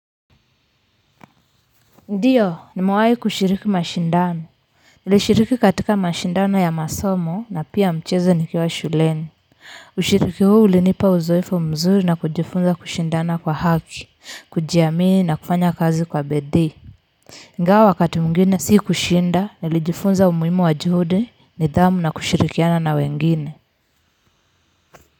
Ndiyo nimewahi kushiriki mashindano. Nilishiriki katika mashindano ya masomo na pia mchezo nikiwa shuleni. Ushirika huu ulinipa uzoefu mzuri na kujifunza kushindana kwa haki, kujiamini na kufanya kazi kwa bidii. Ingawa wakati mwingine si kushinda nilijifunza umuhimu wa juhudi ni dhamu na kushirikiana na wengine kwa hivyo.